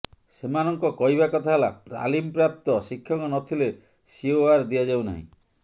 ସେମାନଙ୍କ କହିବା କଥା ହେଲା ତାଲିମପ୍ରାପ୍ତ ଶିକ୍ଷକ ନ ଥିଲେ ସିଓଆର ଦିଆଯାଉ ନାହିଁ